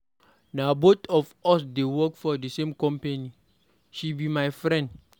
Na both of us dey work for the same company. She be my friend.